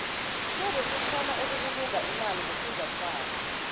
sebe sikgona ukubulunga imali ngofunjathwako